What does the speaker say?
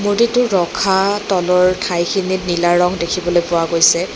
মূৰ্ত্তিটো ৰখা তলৰ ঠাইখিনিত নীলা ৰং দেখিবলৈ পোৱা গৈছে।